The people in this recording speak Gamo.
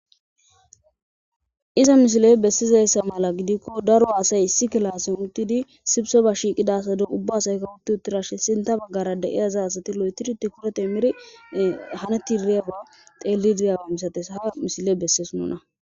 iza misiley bessizayssa mala gidikko daro asay issi kilaasen uttidi sibso ba shiiqidasade ubba asayka wutti uttirashe sinta baggara da7iyaza asati lo7etiriti kurate miri haneti iriyabaa teelliriyaawe misates ha misile besseesu nona